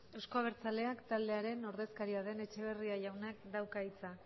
euzko abertzaleak taldearen ordezkaria den etxeberria jaunak dauka hitza